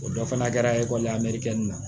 O dɔ fana kɛra ekɔlila mɛri kɛli la